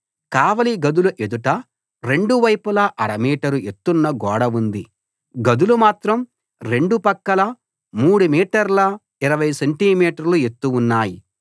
కావలి గదుల ఎదుట రెండు వైపులా అర మీటరు ఎత్తున్న గోడ ఉంది గదులు మాత్రం రెండు పక్కలా 3 మీటర్ల 20 సెంటి మీటర్లు ఎత్తు ఉన్నాయి